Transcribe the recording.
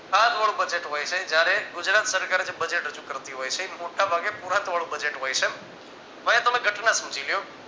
ખાધવાળું budget હોય છે જયારે ગુજરાત સરકાર budget રજુ કરતી હોય છે મોટા ભાગે પુરાંતવાળું budget હોય છે. તો આયા તમે ઘટના સમજી લ્યો